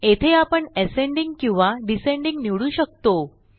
येथे आपणAscending किंवा डिसेंडिंग निवडू शकतो